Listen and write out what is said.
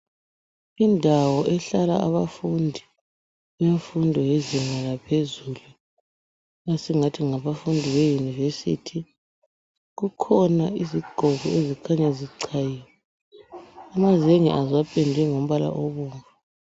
Indawo ehlala abafundi bemfundo yezinga laphezulu esingathi ngabafundi beyunivesithi kukhona izigqoko ezikhanya zichayiwe. Amazenge azo apendwe ngombala obomvu.